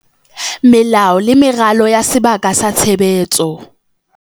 Melao le meralo ya sebaka sa tshebetso.